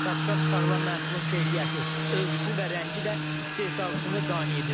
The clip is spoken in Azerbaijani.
Satışa çıxarılan məhsulun keyfiyyəti, ölçüsü və rəngi də istehsalçını qane edir.